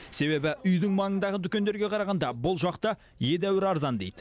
себебі үйдің маңындағы дүкендерге қарағанда бұл жақта едәуір арзан дейді